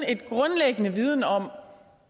en grundlæggende viden om